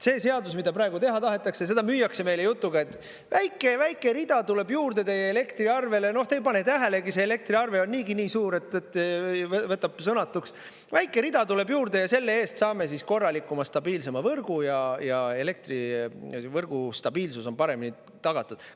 See seadus, mida praegu teha tahetakse, seda müüakse meile jutuga, et väike rida tuleb juurde teie elektriarvele, te ei pane tähelegi – see elektriarve on niigi nii suur, et võtab sõnatuks –, väike rida tuleb juurde ja selle eest saame korralikuma, stabiilsema võrgu ja elektrivõrgu stabiilsus on paremini tagatud.